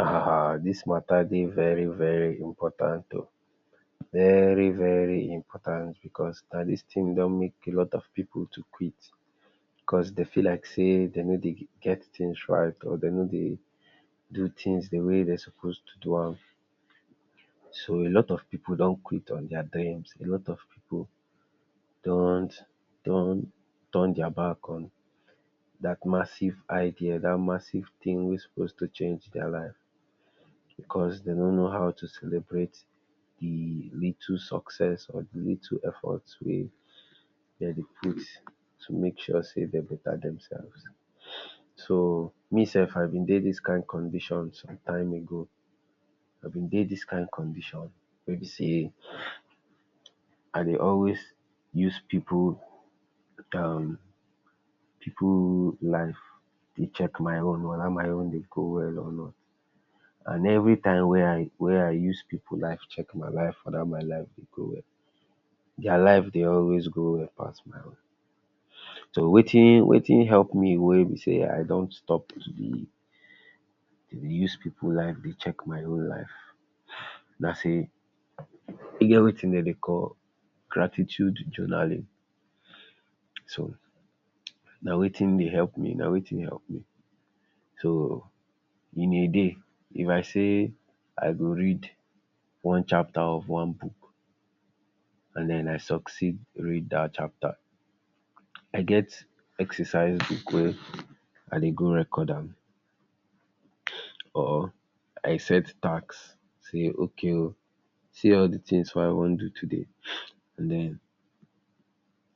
um dis mata dey very important o, very very important because na dis tin don make a lot of pipu to quit because dey feel like say de no dey get tins right or dem no dey do tins di way dem suppose to do am. So a lot of pipu don quit on dia dreams a lot of pipu dont don turn dia back on dat massive idea dat massive tin wey suppose to change dia life because, dem no know how to celebrate little success of little effort wey dem dey put to make sure sey dem beta demself. So me self I be dey dis kain condition sometime ago, I be dey dis kain condition wey be say I dey always use pipu um pipu life dey check my own weda my own dey go well or not and everytime wey I wey I use pipu life check my life weda my life dey go well dia life dey always go well pass my own. So watin watin help me wey be sey I don stop to dey use pipu life dey check my own life na say, e get watin dem dey call gratitude journaling, so na watin dey help me na watin help me so in a day if I say I go read one chapter of one book, and den I succeed reading dat chapter I get exercise book wey I dey go record am or I set task say okay o see all di tins wey I wan do today den